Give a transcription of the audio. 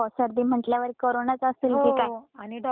आणि डॉक्टर पण चेक करायला घाबरत होते गं त्यावेळी.